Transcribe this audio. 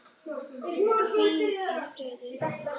Hvíl í friði, vinur.